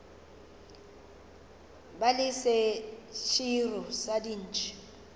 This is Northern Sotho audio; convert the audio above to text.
ba le seširo sa dintšhi